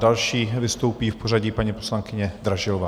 Další vystoupí v pořadí paní poslankyně Dražilová.